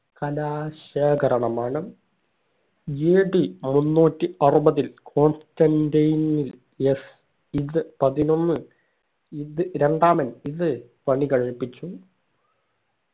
കലാ ശേഖരണമാണ് AD മുന്നൂറ്റി അറുപതിൽ കോൺസ്റ്റാന്റീനിൽയസ് ഇത് പതിനൊന്ന് ഇത് രണ്ടാമൻ ഇത് പണി കഴിപ്പിച്ചു